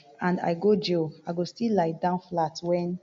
and i go jail i go still lie down flat wen